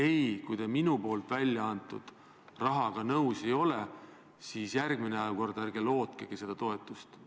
Ei, kui te minu eraldatud rahaga nõus ei ole, siis järgmine kord ärge lootkegi seda toetust!